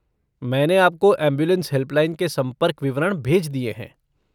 मैंने आपको ambulance helpline के संपर्क विवरण भेज दिए हैं।